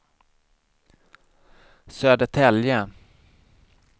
Södertälje